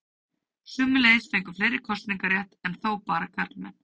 Sömuleiðis fengu fleiri kosningarétt, enn þó bara karlmenn.